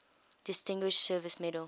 distinguished service medal